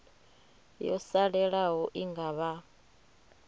yo salelaho i nga vha